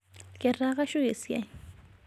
Ketaa kashuko siai